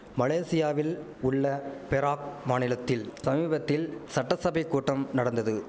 மலேசியாவில் உள்ள பெராக் மாநிலத்தில் சமீபத்தில் சட்டசபைக் கூட்டம் நடந்தது